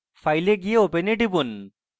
file এ যান open এ টিপুন